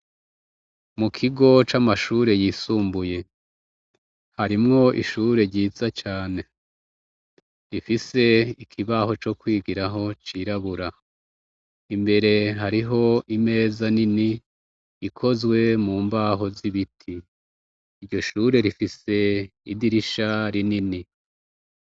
Mu kigo c'amashure yisumbuye harimwo ishure ryiza cane rifise ikibaho co kwigiraho cirabura imbere hariho imeza nini ikozwe mu mbaho z'ibiti iryo shure rifise idie isharinini.